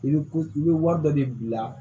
I bɛ ko i bɛ wari dɔ de bila